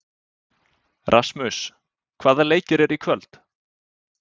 Rasmus, hvaða leikir eru í kvöld?